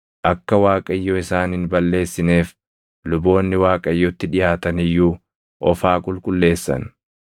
Akka Waaqayyo isaan hin balleessineef luboonni Waaqayyotti dhiʼaatan iyyuu of haa qulqulleessan.”